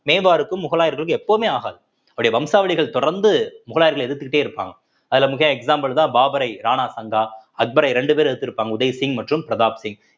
மேவார்க்கும் முகலாயர்களுக்கும் எப்பவுமே ஆகாது வம்சாவளிகள் தொடர்ந்து முகலாயர்களை எதிர்த்துக்கிட்டே இருப்பாங்க அதுல example தான் பாபரை ராணா சந்தா அக்பரை இரண்டு பேர் எதிர்த்து இருப்பாங்க உதய் சிங் மற்றும் பிரதாப் சிங்